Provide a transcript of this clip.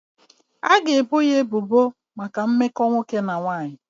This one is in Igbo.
A ga-ebo ya ebubo maka mmetọ nwoke na nwanyị.